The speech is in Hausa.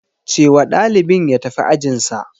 Ce wa ɗalibin ya tafi ajinsa.